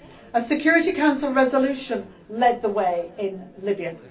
A Security Council resolution led the way in Libya.